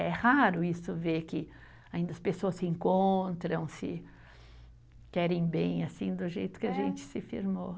É raro isso, ver que ainda as pessoas se encontram, se querem bem, assim, do jeito que a gente se firmou.